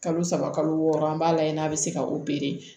Kalo saba kalo wɔɔrɔ an b'a lajɛ n'a bɛ se ka